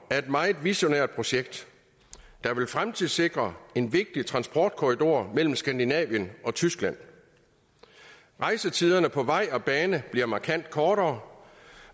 er et meget visionært projekt der vil fremtidssikre en vigtig transportkorridor mellem skandinavien og tyskland rejsetiderne på vej og bane bliver markant kortere